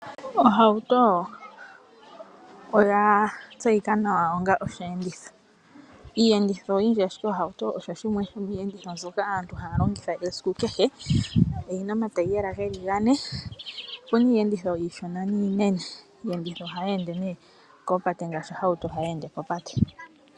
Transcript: Ohauto oya tseyika nawa onga oshenditho. Opuna iiyenditho oyindji ashike ohauto oyo yimwe yomiiyenditho mbyoka aantu haya longitha esiku kehe. Oyina omagulu geli gane. Opuna iiyenditho iishona niinene. Iiyenditho ngaashi ohauto ohayi ende kopate.